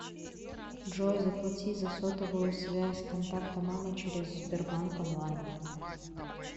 джой заплати за сотовую связь контакта мама через сбербанк онлайн